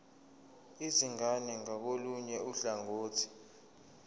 izingane ngakolunye uhlangothi